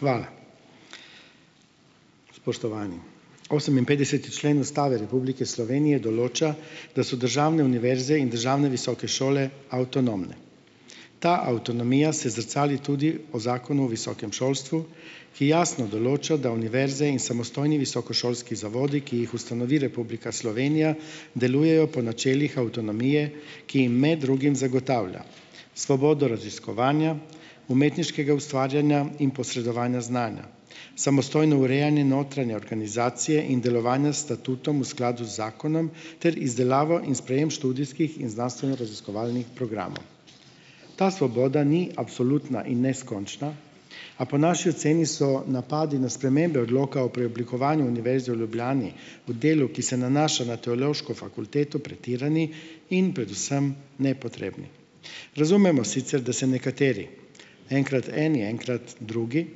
Hvala. Spoštovani! Oseminpetdeseti člen Ustave Republike Slovenije določa, da so državne univerze in državne visoke šole avtonomne. Ta avtonomija se zrcali tudi o Zakonu o visokem šolstvu, ki jasno določa, da univerze in samostojni visokošolski zavodi, ki jih ustanovi Republika Slovenija, delujejo po načelih avtonomije, ki jim med drugim zagotavlja svobodo raziskovanja, umetniškega ustvarjanja in posredovanja znanja, samostojno urejanje notranje organizacije in delovanje s statutom v skladu z zakonom ter izdelavo in sprejem študijskih in znanstvenoraziskovalnih programov. Ta svoboda ni absolutna in neskončna, a po naši oceni so napadi na spremembe odloka o preoblikovanju Univerze v Ljubljani v delu, ki se nanaša na Teološko fakulteto, pretirani in predvsem nepotrebni. Razumemo sicer, da se nekateri enkrat eni, enkrat drugi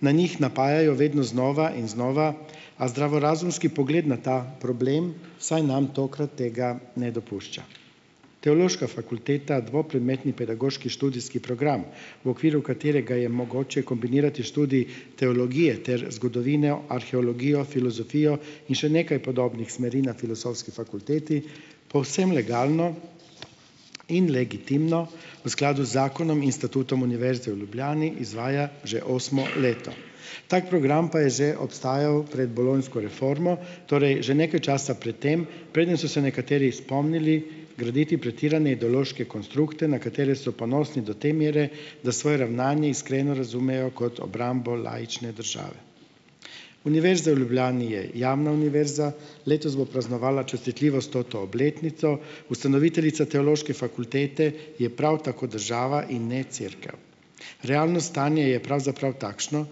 na njih napajajo vedno znova in znova, a zdravorazumski pogled na ta problem vsaj nam tokrat tega ne dopušča. Teološka fakulteta dvopredmetni pedagoški študijski program, v okviru katerega je mogoče kombinirati študij teologije ter zgodovino, arheologijo, filozofijo in še nekaj podobnih smeri na Filozofski fakulteti, povsem legalno in legitimno v skladu z zakonom in statutom Univerze v Ljubljani izvaja že osmo leto. Tako program pa je že obstajal pred bolonjsko reformo, torej že nekaj časa pred tem, preden so se nekateri spomnili graditi pretirane ideološke konstrukte, na katere so ponosni do te mere, da svoje ravnanje iskreno razumejo kot obrambo laične države. Univerza v Ljubljani je javna univerza. Letos bo praznovala častitljivo stoto obletnico. Ustanoviteljica Teološke fakultete je prav tako država in ne cerkev. Realno stanje je pravzaprav takšno,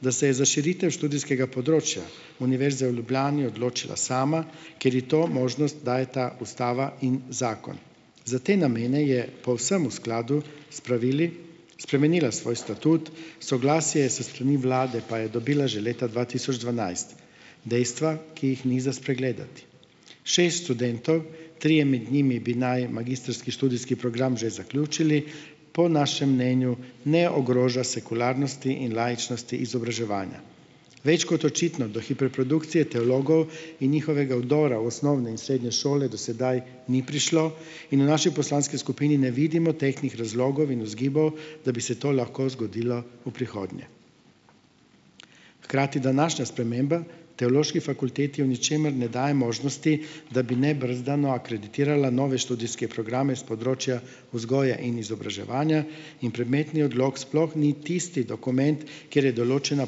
da se je za širitev študijskega področja Univerze v Ljubljani odločila sama, ker ji to možnost dajeta ustava in zakon. Za te namene je povsem v skladu s pravili spremenila svoj statut, soglasje s strani vlade pa je dobila že leta dva tisoč dvanajst, dejstva, ki jih ni za spregledati. Šest študentov, trije med njimi bi naj magistrski študijski program že zaključili, po našem mnenju ne ogroža sekularnosti in laičnosti izobraževanja. Več kot očitno do hiperprodukcije teologov in njihovega vdora v osnovne in srednje šole do sedaj ni prišlo, in v naši poslanski skupini ne vidimo tehtnih razlogov in vzgibov, da bi se to lahko zgodilo v prihodnje. Hkrati današnja sprememba Teološki fakulteti v ničemer ne daje možnosti, da bi nebrzdano akreditirala nove študijske programe s področja vzgoje in izobraževanja, in predmetni odlok sploh ni tisti dokument, kjer je določena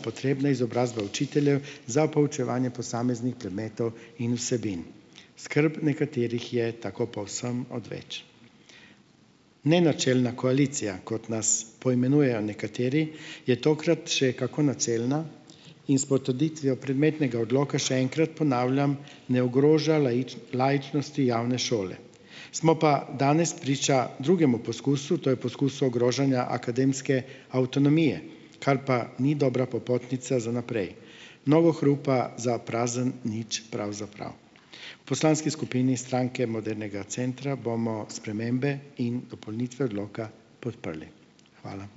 potrebna izobrazba učiteljev za poučevanje posameznih predmetov in vsebin, skrb nekaterih je tako povsem odveč. Nenačelna koalicija, kot nas poimenujejo nekateri, je tokrat še kako načelna in s potrditvijo predmetnega odloka, še enkrat ponavljam, ne ogroža laičnosti javne šole. Smo pa danes priča drugemu poskusu, to je poskus ogrožanja akademske avtonomije, kar pa ni dobra popotnica za naprej, mnogo hrupa za prazen nič, pravzaprav. Poslanski skupini Stranke modernega centra bomo spremembe in dopolnitve odloka podprli. Hvala.